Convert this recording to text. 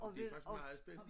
Det faktisk meget spændende